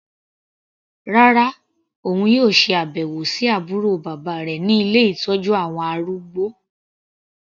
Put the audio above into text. Rárá, òun yóò ṣe àbẹ̀wò sí àbúrò bàbá rẹ̀ ní ilé ìtọ́jú àwọn arúgbó.